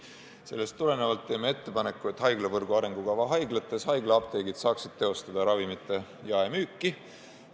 Seetõttu teeme ettepaneku, et haiglavõrgu arengukava haiglates saaksid haiglaapteegid teha ravimite jaemüüki.